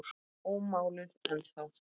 Ómáluð ennþá.